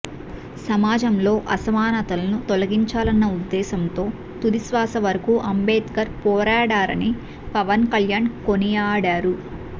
సమాజంలో అసమానతలను తొలగించాలన్న ఉద్దేశంతో తుది శ్వాస వరకూ అంబేద్కర్ పోరాడారని పవన్ కళ్యాణ్ కొనియాడారు